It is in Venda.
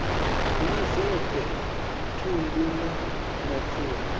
na zwothe thundu na mapfura